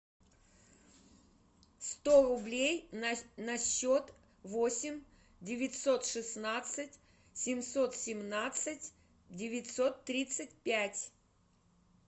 сто рублей на счет восемь девятьсот шестнадцать семьсот семнадцать девятьсот тридцать пять